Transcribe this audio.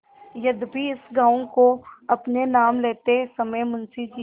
यद्यपि इस गॉँव को अपने नाम लेते समय मुंशी जी